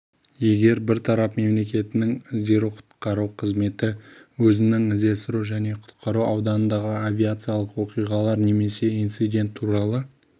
егер бір тарап мемлекетінің іздестіру-құтқару қызметі өзінің іздестіру және құтқару ауданындағы авиациялық оқиғалар немесе инцидент туралы